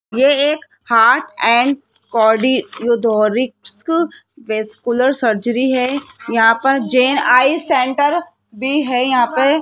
ये एक heart and cardio रीडोरिक्स वैस्कुलर सर्जरी है यहां पर जैन आई सेंटर भी है यहां पे --